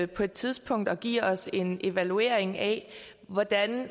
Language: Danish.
på et tidspunkt at give os en evaluering af hvordan